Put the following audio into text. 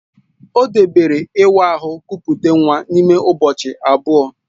Ọ debere ịwa ahụ kupute nwa n'ime ụbọchị abụọ